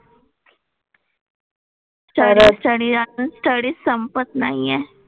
Study study अजून study संपत नाही आहे.